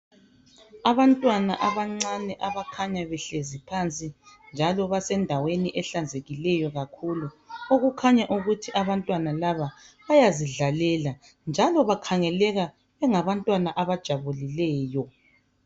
Abantwana abancane abakhanya behlezi phansi njalo basendaweni ehlanzekileyo kakhulu okukhanya ukuthi abantwana laba bayazidlalela njalo bakhangeleka bengabantwana abajabulileyo.